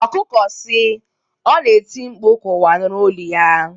Ọkụkọ si, ọ na-eti mkpu ka ụwa nụrụ olu ya